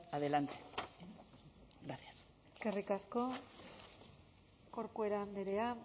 adelante gracias eskerrik asko corcuera andrea